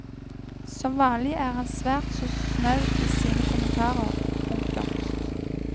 Som vanlig er han svært så snau i sine kommentarer. punktum